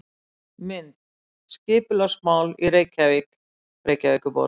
Mynd: Skipulagsmál í Reykjavík Reykjavíkurborg.